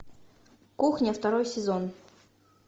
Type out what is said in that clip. кухня второй сезон